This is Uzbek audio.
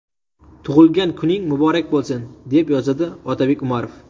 Tug‘ilgan kuning muborak bo‘lsin!”, deb yozadi Otabek Umarov.